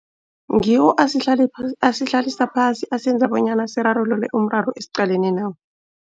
Ngiwo asihlalisa phasi asenza bonyana sirarulule umraro esiqalene nawo.